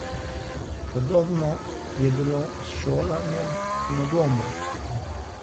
Podobno je bilo s šolanjem na domu.